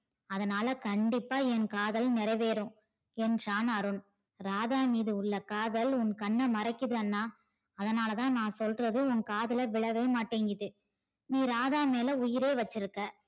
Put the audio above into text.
அதனால கண்டிப்பா என் காதல் நிறைவேறும் என்றான் அருண். ராதா மீது உள்ள காதல் உன் கண்ணை மறக்குது அண்ணா அதனால்த நா சொல்றது உன் காதுலையே விழ மாட்டிது நீ ராதா மேல உயிரையே வச்சிருக்க